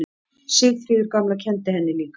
Sigríður gamla kenndi henni líka.